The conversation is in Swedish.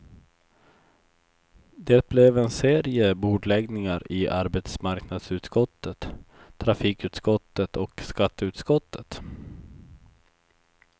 Det blev en serie bordläggningar i arbetsmarknadsutskottet, trafikutskottet och skatteutskottet.